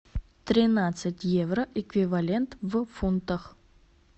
тринадцать евро эквивалент в фунтах